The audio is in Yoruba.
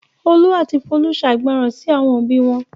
Olú àti Folú ṣàìgbọràn sí àwọn òbí wọn.